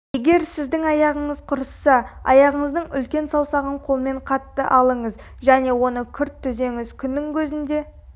егер сіздің аяғыңыз құрысса аяғыңыздың үлкен саусағын қолмен қатты алыңыз және оны күрт түзеңіз күннің көзінде